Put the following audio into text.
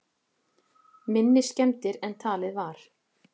Minni skemmdir en talið var